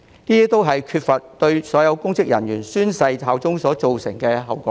這些都是沒有要求所有公職人員宣誓效忠所造成的後果。